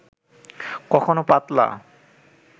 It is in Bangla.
কখনো পাতলা